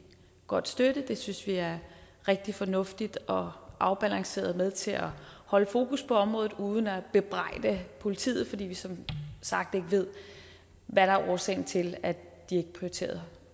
godt støtte det synes vi er rigtig fornuftigt og afbalanceret altså med til at holde fokus på området uden at bebrejde politiet fordi vi som sagt ikke ved hvad der er årsagen til at de ikke prioriterer